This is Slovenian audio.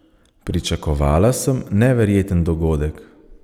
Pričakovala sem neverjeten dogodek.